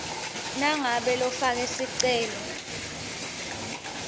nangabe lofake sicelo